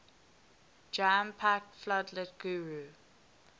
jam packed floodlit guru